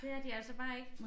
Det er de altså bare ikke